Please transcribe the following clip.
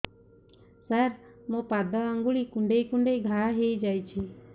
ସାର ମୋ ପାଦ ଆଙ୍ଗୁଳି କୁଣ୍ଡେଇ କୁଣ୍ଡେଇ ଘା ହେଇଯାଇଛି